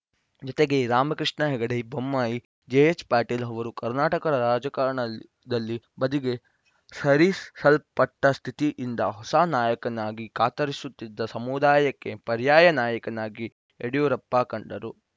ಜತೆಗೆ ರಾಮಕೃಷ್ಣ ಹೆಗಡೆ ಬೊಮ್ಮಾಯಿ ಜೆಎಚ್‌ಪಟೇಲ್‌ ಅವರು ಕರ್ನಾಟಕದ ರಾಜಕಾರಣದಲ್ಲಿ ಬದಿಗೆ ಸರಿಸಲ್ಪಟ್ಟಸ್ಥಿತಿಯಿಂದ ಹೊಸ ನಾಯಕನಿಗಾಗಿ ಕಾತರಿಸುತ್ತಿದ್ದ ಸಮುದಾಯಕ್ಕೆ ಪರ್ಯಾಯ ನಾಯಕನಾಗಿ ಯಡಿಯೂರಪ್ಪ ಕಂಡರು